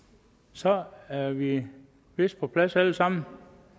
så er vi vist på plads alle sammen